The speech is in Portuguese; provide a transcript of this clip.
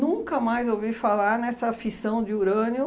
mais ouvi falar nessa fissão de urânio,